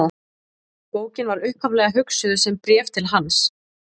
Bókin var upphaflega hugsuð sem bréf til hans.